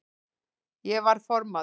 Ég var formaður